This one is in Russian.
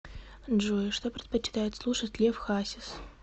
джой что предпочитает слушать лев хасис